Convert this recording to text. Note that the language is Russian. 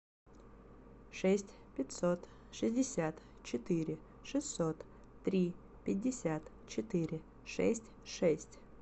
шесть пятьсот шестьдесят четыре шестьсот три пятьдесят четыре шесть шесть